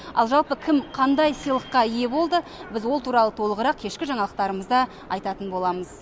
ал жалпы кім қандай сыйлыққа ие болды біз ол туралы толығырақ кешкі жаңалықтарымызда айтатын боламыз